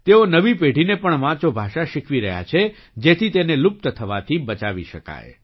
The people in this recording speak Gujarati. તેઓ નવી પેઢીને પણ વાંચો ભાષા શીખવી રહ્યા છે જેથી તેને લુપ્ત થવાથી બચાવી શકાય